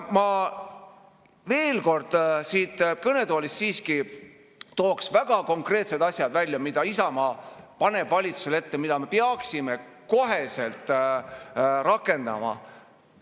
Ma veel kord tooksin siit kõnetoolist väga konkreetsed asjad välja, mida Isamaa paneb valitsusele ette, mida me peaksime kohe rakendama.